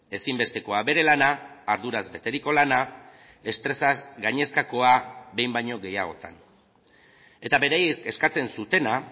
ezinbestekoa bere lana arduraz beteriko lana estresaz gainezkakoa behin baino gehiagotan eta beraiek eskatzen zutena